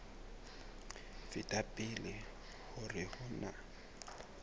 feta pele hore ho na